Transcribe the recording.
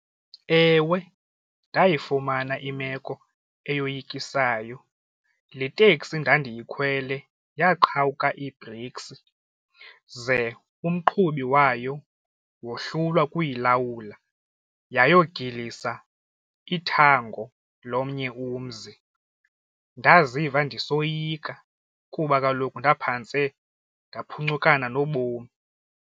Ewe, ndayifumana imeko eyoyikisayo. Le teksi ndandiyikhwele yaqhawuka ii-brakes ze umqhubi wayo wohlulwa kuyilawula yayogilisa ithango lomnye umzi. Ndaziva ndisoyika kuba kaloku ndaphantse ndaphuncukana nobomi.